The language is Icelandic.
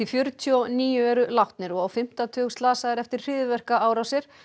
fjörutíu og níu eru látnir og á fimmta tug slasaðir eftir hryðjuverkaárásir